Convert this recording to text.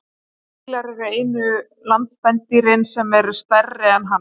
fílar eru einu landspendýrin sem eru stærri en hann